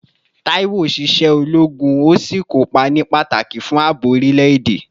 Taiwo ṣiṣẹ́ ológun, ó sì kópa ní pàtàkì fún ààbò orílẹ̀-èdè